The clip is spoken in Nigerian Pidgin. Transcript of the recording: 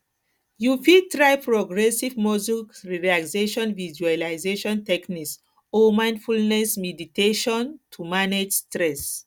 you fit try progressive muscle relaxation visualization techniques or mindfulness meditation to manage stress